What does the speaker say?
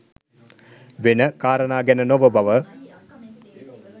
වෙන කාරණා ගැන නොව බව